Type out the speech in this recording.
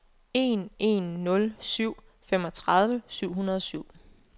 en en nul syv femogtredive syv hundrede og syv